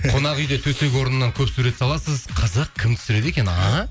қонақ үйде төсек орнынан көп сурет саласыз қызық кім түсіреді екен а